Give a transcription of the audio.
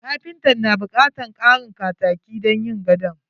Kapintan na bukatan karin kataki don yin gadon.